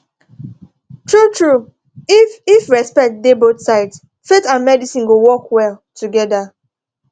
truetrue if if respect dey both sides faith and medicine go work well together